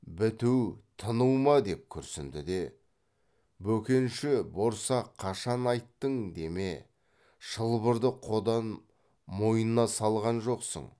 біту тыну ма деп күрсінді де бөкенші борсақ қашан айттың деме шылбырды қодан мойнына салған жоқсың